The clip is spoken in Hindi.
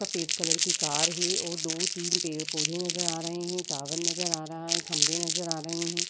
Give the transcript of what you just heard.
सफ़ेद कलर की कार है और दो तीन पेड़ पौधे नज़र आ रहे हैं। टावर नज़र आ रहा है। खंभे नज़र आ रहे हैं।